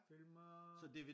Film og